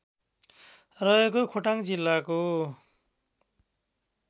रहेको खोटाङ जिल्लाको